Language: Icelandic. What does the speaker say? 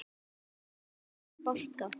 hóta að sparka